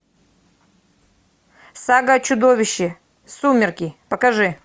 сага о чудовище сумерки покажи